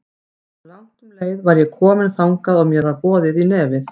Áður en langt um leið var ég komin þangað og mér var boðið í nefið.